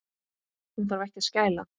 Hún þarf ekki að skæla.